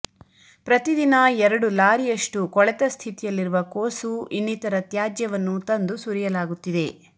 ಪ್ರತಿ ದಿನ ಎರಡು ಲಾರಿಯಷ್ಟು ಕೊಳೆತ ಸ್ಥಿತಿಯಲ್ಲಿರುವ ಕೋಸು ಇನ್ನಿತರ ತ್ಯಾಜ್ಯವನ್ನು ತಂದು ಸುರಿಯಲಾಗುತ್ತಿದೆ